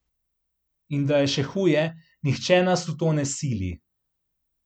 In da je še huje, nihče nas v to ne sili.